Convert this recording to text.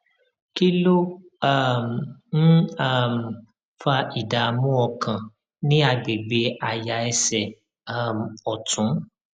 kí ló um ń um fa ìdààmú ọkàn ní àgbègbè àyà ẹsè um òtún